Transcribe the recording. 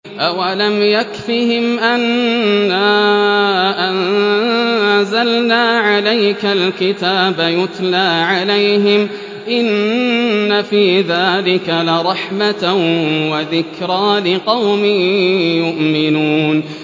أَوَلَمْ يَكْفِهِمْ أَنَّا أَنزَلْنَا عَلَيْكَ الْكِتَابَ يُتْلَىٰ عَلَيْهِمْ ۚ إِنَّ فِي ذَٰلِكَ لَرَحْمَةً وَذِكْرَىٰ لِقَوْمٍ يُؤْمِنُونَ